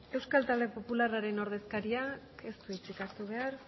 euskal talde popularraren ordezkariak ez du hitzik hartu behar